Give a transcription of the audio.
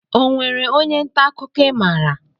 Onwere ónyé nta akụkọ i maara?